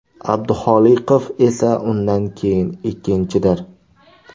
Abduxoliqov esa undan keyin ikkinchidir.